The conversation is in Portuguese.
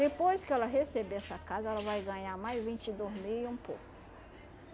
Depois que ela receber essa casa, ela vai ganhar mais vinte e dois mil e um pouco.